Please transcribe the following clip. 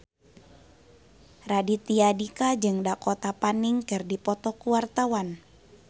Raditya Dika jeung Dakota Fanning keur dipoto ku wartawan